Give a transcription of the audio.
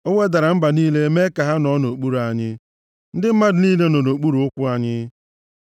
O wedara mba niile mee ka ha nọọ nʼokpuru anyị; ndị mmadụ niile nọ nʼokpuru ụkwụ anyị.